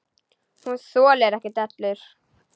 Hún þolir ekki dellur.